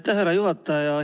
Aitäh, härra juhataja!